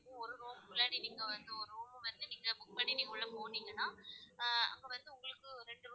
உள்ளாடி நீங்க வந்து ஒரு room வந்து நீங்க book பண்ணி நீங்க உள்ள போன்னிங்கனா ஆஹ் அங்க வந்து உங்களுக்கு ரெண்டு,